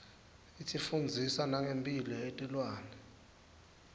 isifundzisa nengemphilo yetilwane